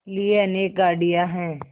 लिए अनेक गाड़ियाँ हैं